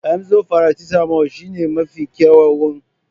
Emzor faracetamol shine mafi kyawuna don kawar da ciwon kai.